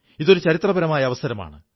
ഇതൊരു ചരിത്രപരമായ അവസരമാണ്